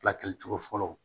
Fila kɛ cogo fɔlɔ